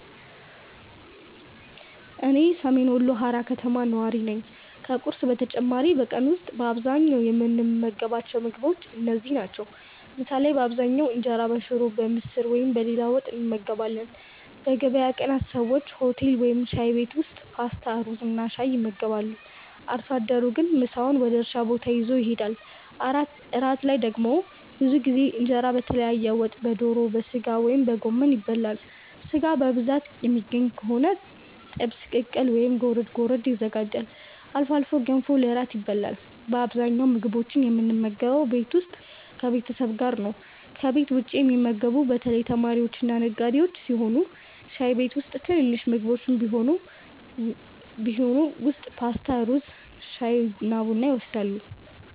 እኔ ሰሜን ወሎ ሃራ ከተማ ነዋሪ ነኝ። ከቁርስ በተጨማሪ በቀን ውስጥ በአብዛኛው የምንመገባቸው ምግቦች እነዚህ ናቸው፦ ምሳ ላይ በአብዛኛው እንጀራ በሽሮ፣ በምስር ወይም በሌላ ወጥ እንመገባለን። በገበያ ቀናት ሰዎች ሆቴል ወይም ሻይ ቤት ውስጥ ፓስታ፣ ሩዝና ሻይ ይመገባሉ። አርሶ አደሩ ግን ምሳውን ወደ እርሻ ቦታ ይዞ ይሄዳል። እራት ላይ ደግሞ ብዙ ጊዜ እንጀራ በተለያየ ወጥ (በዶሮ፣ በሥጋ ወይም በጎመን) ይበላል። ሥጋ በብዛት የሚገኝ ከሆነ ጥብስ፣ ቅቅል ወይም ጎረድ ጎረድ ይዘጋጃል። አልፎ አልፎ ገንፎ ለእራት ይበላል። በአብዛኛው ምግቦችን የምንመገበው ቤት ውስጥ ከቤተሰብ ጋር ነው። ከቤት ውጭ የሚመገቡት በተለይ ተማሪዎችና ነጋዴዎች ሲሆኑ ሻይ ቤት ወይም ትንንሽ ምግብ ቤቶች ውስጥ ፓስታ፣ ሩዝ፣ ሻይና ቡና ይወስዳሉ።